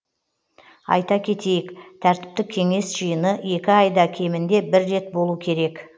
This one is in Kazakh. айта кетейік тәртіптік кеңес жиыны екі айда кемінде бір рет болу керек